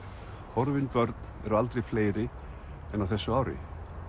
horfin börn eru aldrei fleiri en á þessu ári